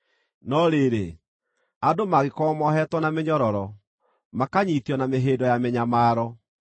No rĩrĩ, andũ mangĩkorwo mohetwo na mĩnyororo, makanyiitio na mĩhĩndo ya mĩnyamaro,